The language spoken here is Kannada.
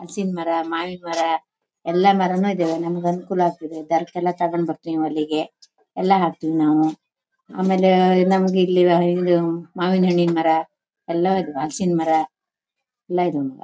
ಹಲ್ಸಿನ್ಮರ ಮಾವಿನಮರ ಎಲ್ಲಮರನು ಇದಾವೆ ನಮಗೆ ಅನುಕೂಲ ಅಕ್ತಿದೆ ಗಾರ್ಕೆಲ್ಲ ತಗೊಂಡು ಬರ್ತೀವಿ. ಅಲ್ಲಿಗೆ ಎಲ್ಲ ಹಾಕ್ತಿವಿ ನಾವು ಆಮೇಲೆ ನಂಗಿಲ್ಲಿ ಇದು ಮಾವಿನಣ್ಣಿನ್ ಮರ ಎಲ್ಲವು ಇದಾವೆ ಹಲ್ಸಿನ್ಮರ ಎಲ್ಲ ಇದಾವೆ --.